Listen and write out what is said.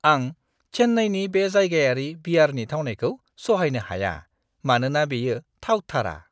आं चेन्नाईनि बे जायगायारि बियारनि थावनायखौ सहायनो हाया मानोना बेयो थावथारा।